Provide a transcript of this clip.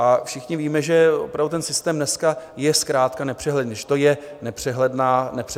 A všichni víme, že opravdu ten systém dneska je zkrátka nepřehledný, že to je nepřehledná džungle.